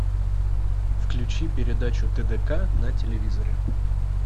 включи передачу тдк на телевизоре